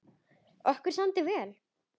Okkur samdi vel.